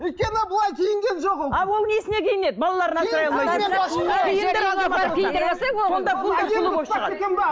өйткені ол былай киінген жоқ ол а ол несіне киінеді балаларын асыра алмай жүрсе